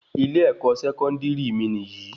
Ilé ẹkọ sẹkọndiri mí níyì